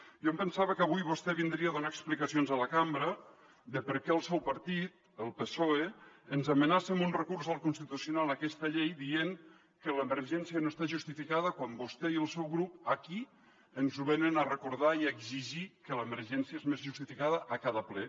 jo em pensava que avui vostè vindria a donar explicacions a la cambra de per què el seu partit el psoe ens amenaça amb un recurs al constitucional aquesta llei dient que l’emergència no està justificada quan vostè i el seu grup aquí ens venen a recordar i a exigir que l’emergència és més justificada a cada ple